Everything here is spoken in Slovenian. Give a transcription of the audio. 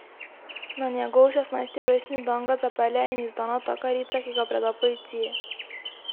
Na njegov šestnajsti rojstni dan ga zapelje in izda natakarica, ki ga preda policiji.